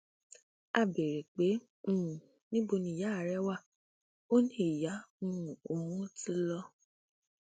a béèrè pé um níbo níyà rẹ wá ò ní ìyá um òun ti lọ